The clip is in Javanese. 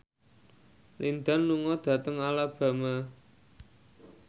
Lin Dan lunga dhateng Alabama